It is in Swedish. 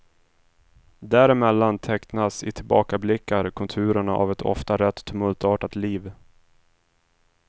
Däremellan tecknas i tillbakablickar konturerna av ett ofta rätt tumultartat liv.